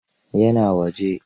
Ya na waje.